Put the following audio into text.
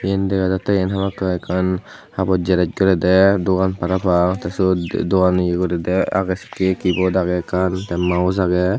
yen dega jattey iyen hamakkai ekkan haboj jeres goredey dogan parapang tey syot dogan ye goredey agey sekkey keyboard agey ekkan tey mouse agey.